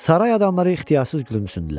Saray adamları ixtiyarsız gülümsündülər.